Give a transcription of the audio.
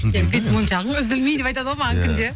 бет мойыншағың үзілмей деп айтады ғой маған күнде